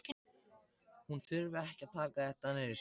Hún þurfi ekki að taka þetta nærri sér.